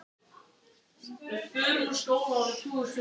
Tökur dreifðust um þrjár heimsálfur- Evrópu, Indland og strönd